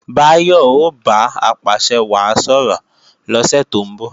Báyọ̀ o bá Apàṣẹwàá sọ̀rọ̀ lọ́sẹ̀ tó ń bọ̀